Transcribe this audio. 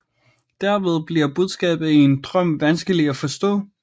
Derved bliver budskabet i en drøm vanskelig at forstå